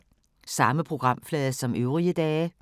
Samme programflade som øvrige dage